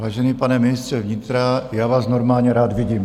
Vážený pane ministře vnitra, já vás normálně rád vidím.